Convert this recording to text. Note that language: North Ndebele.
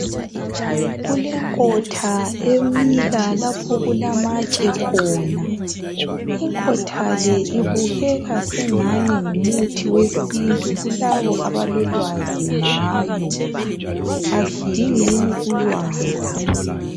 Kule nkotha emila lapho okula matshe khona. Inkotha le ibukeka sengani ngumuthi wesintu kulabo abalolwazi ngayo. Asidingeni ulwazi.